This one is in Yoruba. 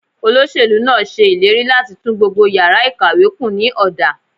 Olóṣèlú náà ṣe ìlérí láti tún gbogbo yàrá ìkàwé kùn ní ọ̀dà.